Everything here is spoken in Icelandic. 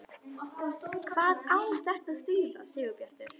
HVAÐ Á ÞETTA AÐ ÞÝÐA, SIGURBJARTUR?